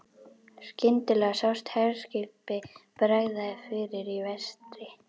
Skyndilega sást herskipi bregða fyrir í vestri.